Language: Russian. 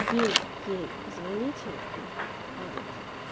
ей ей позвонить и там пожалуйста